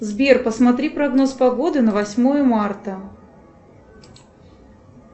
сбер посмотри прогноз погоды на восьмое марта